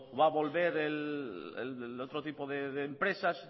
va a volver el otro tipo de empresas